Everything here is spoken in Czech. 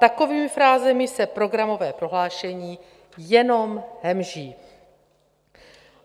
Takovými frázemi se programové prohlášení jenom hemží.